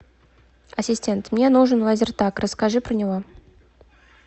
ассистент мне нужен лазертаг расскажи про него